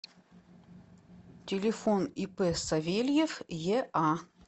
телефон ип савельев еа